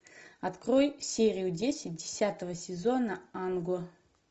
открой серию десять десятого сезона ан го